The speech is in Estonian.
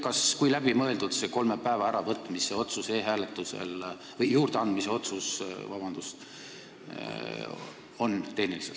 Kui läbimõeldud see kolme päeva juurdeandmise otsus e-hääletusel tehniliselt on?